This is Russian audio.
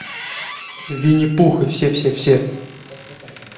винни пух и все все все